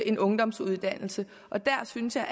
en ungdomsuddannelse og der synes jeg